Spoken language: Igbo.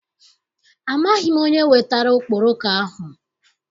Amaghị m onye wetara okporoko ahụ.